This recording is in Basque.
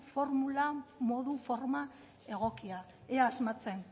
formula modu forma egokia ea asmatzen